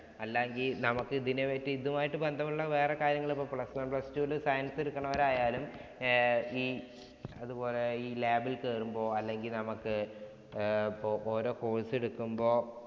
അല്ലാ എങ്കില്‍ നമുക്ക് ഇതിനെപറ്റി ഇതുമായി ബന്ധമുള്ള വേറെ കാര്യങ്ങൾ plus two വില് science എടുക്കണവരായാലും അതുപോലെ ഈ lab ഇല്‍ കയറുമ്പോള്‍ അല്ലെങ്കില്‍ വേറെ നമുക്ക് ആഹ് അപ്പൊ ഓരോ course എടുക്കുമ്പോ